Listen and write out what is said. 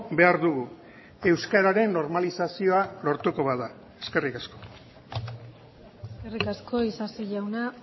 behar dugu euskararen normalizazioa lortuko bada eskerrik asko eskerrik asko isasi jauna